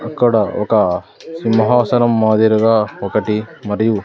అక్కడ ఒక సింహాసనం మాదిరిగా ఒకటి మరియు --